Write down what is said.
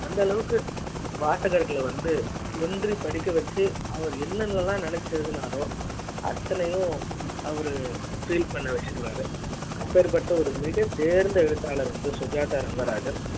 அந்த அளவுக்கு வாசகர்கள வந்து ஒன்றி படிக்க வச்சு அவர் என்னலாம் நினச்சு எழுதினாரோ அத்தனையும் அவரு feel வச்சிடுவாரு அப்படிப்பட்ட ஒரு மிக தேர்ந்த எழுத்தாளர் சுஜாதா ரங்கராஜன்